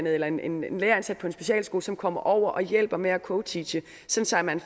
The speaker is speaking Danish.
eller en en lærer ansat på en specialskole som kommer over og hjælper med at co teache så så man